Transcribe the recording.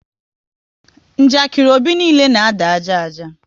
Njakiri Obi niile na ada ájá ájá